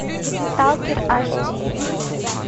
сталкер аш ди